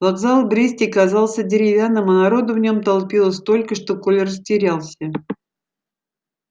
вокзал в бресте казался деревянным а народу в нём толпилось столько что коля растерялся